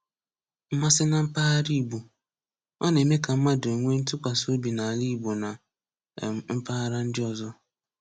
Mmasị na Mpaghara Igbo: Ọ na-eme ka mmadụ nwee ntụkwasị obi n’ala Igbo na um mpaghara ndị ọzọ.